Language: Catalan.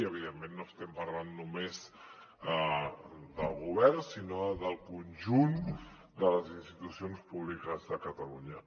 evidentment no estem parlant només del govern sinó del conjunt de les institucions públiques de catalunya